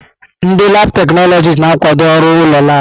Ndị laabụ̀ teknọlọjịst na-akwado ọrụ ụlọ laabụ̀.